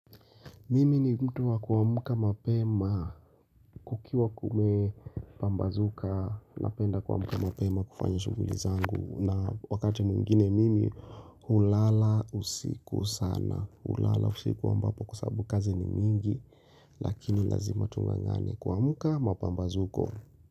Mimi ni mtu wa kuamka mapema kukiwa kumepambazuka napenda kuamka mapema kufanya shughuli zangu na wakati mwingine mimi hulala usiku sana hulala usiku ambapo kwa sababu kazi ni mingi lakini lazima tunga ngani kuamka mapambazuko.